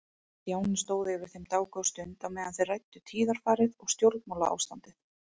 Stjáni stóð yfir þeim dágóða stund á meðan þeir ræddu tíðarfarið og stjórnmálaástandið.